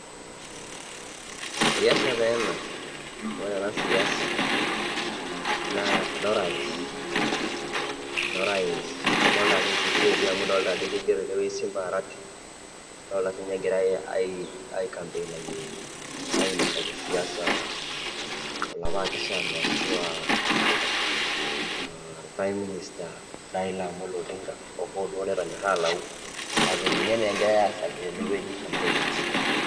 Siasa taa ena. Ore ena siasa naa enorais, enorais adolita ajo Kisii etii amu idolita ajo keigero inewueji Simba Arati. Adolita sii ninye egirai aikampeinaki ainosaki siasa olapa akeshani ashua mmh Prime minister, Raila Amolo Odinga, hoohoo duo netonyorra alayu kake ninye naa egirai aasaki tenewueji kampein.